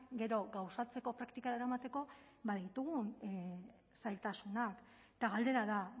gero gauzatzeko praktikara eramateko ditugun zailtasunak eta galdera da